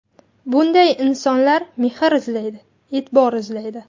Bunday insonlar mehr izlaydi, e’tibor izlaydi.